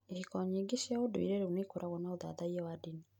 Ihiko nyingĩ cia ũndũire rĩu nĩ ikoragwo na ũthathaiya wa ndini.